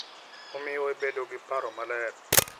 Omiyo ibedo gi paro maler